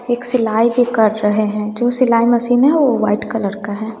एक सिलाई भी कर रहे है जो सिलाई मशीन हैं वो व्हाइट कलर का है।